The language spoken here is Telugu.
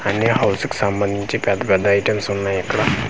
అన్నీ హౌస్ కి సంబంధించి పెద్ద పెద్ద ఐటమ్స్ ఉన్నాయిక్కడ.